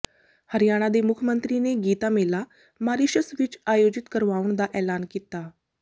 ਹਰਿਆਣਾ ਦੇ ਮੁੱਖ ਮੰਤਰੀ ਨੇ ਗੀਤਾ ਮੇਲਾ ਮਾਰੀਸ਼ਸ਼ ਵਿਚ ਆਯੋਜਿਤ ਕਰਵਾਉਣ ਦਾ ਐਲਾਨ ਕੀਤਾ